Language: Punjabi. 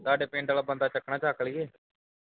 ਤੁਹਾਡੇ ਪਿੰਡ ਵਾਲ਼ਾ ਬੰਦਾ ਚੁੱਕਣਾ ਹੈ ਚੁੱਕ ਲਈਏ